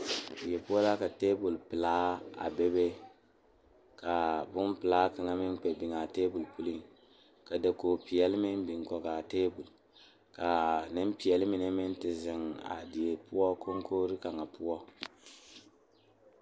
Noba gyamaa la zeŋ die poɔ ka vūūnee uri a nyɛne a die kyɛ kaa die takoe meŋ e kyaane kaa dendɔɛ mine meŋ a e kyaane.